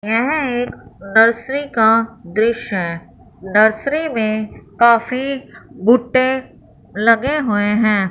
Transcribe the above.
यह एक नर्सरी का दृश्य है नर्सरी में काफी भुट्टे लगे हुए हैं।